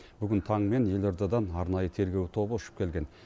бүгін таңмен елордадан арнайы тергеу тобы ұшып келген